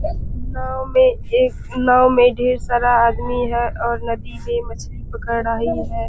नाव में एक नाव में ढ़ेर सारा आदमी हैं और नदी से मछली पकड़ रही हैं।